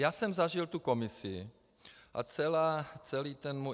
Já jsem zažil tu komisi a celý ten můj...